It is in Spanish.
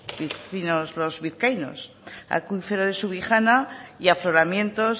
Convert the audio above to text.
vecinos vizcaínos acuífero de subijana y afloramiento